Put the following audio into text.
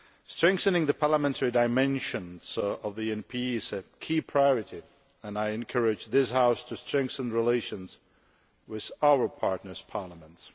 Strengthening the parliamentary dimensions of the ENP is a key priority, and I encourage this House to strengthen relations with our partners' parliaments.